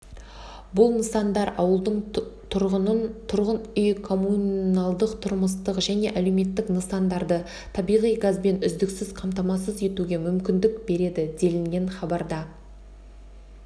бұл нысандар ауылдың тұрғынын тұрғын үй мен коммуналдық-тұрмыстық және әлеуметтік нысандарды табиғи газбен үздіксіз қамтамасыз етуге мүмкіндік береді делінген хабарда